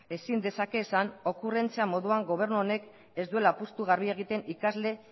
ezin dezake esan okurrentzia moduan gobernu honek ez duela apustu garbia egiten ikasle